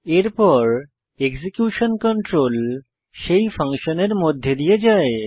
এরপর execution control সেই ফাংশনের মধ্যে দিয়ে যায়